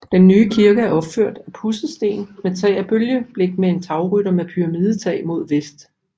Den nye kirke er opført af pudset sten med tag af bølgeblik med en tagrytter med pyramidetag mod vest